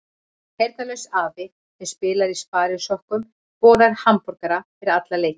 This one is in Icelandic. Heyrnarlaus afi sem spilar í sparisokkum og borðar hamborgara fyrir alla leiki.